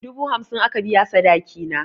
Dubu hamsin aka biya sadaki na.